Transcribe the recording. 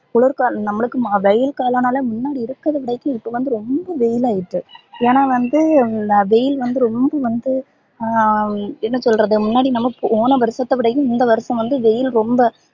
குளிர் காலம் நம்பலுக்கு வெயில் காலம் நாலே இப்போ வந்து ரொம்ப வெயில் ஆயிட்டு ஏனா வந்து வெயில் வந்து ரொம்ப வந்து அஹ் என்ன சொல்றது முன்னாடி நம்ம போன வருஷத்த விடையும் இந்த வருஷம் வந்து வெயில் ரொம்ப